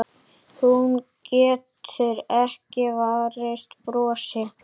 Hún getur ekki varist brosi.